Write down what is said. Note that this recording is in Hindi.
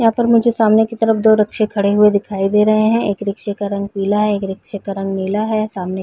यहाँ पर मुझे सामने की तरफ दो रिक्शे खड़े हुए दिखाई दे रहे है एक रिक्शे का रंग पीला है एक रिक्शे का रंग नीला है सामने--